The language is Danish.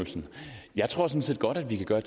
var